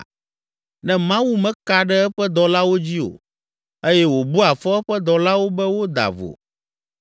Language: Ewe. Ne Mawu meka ɖe eƒe dɔlawo dzi o eye wòbua fɔ eƒe dɔlawo be woda vo,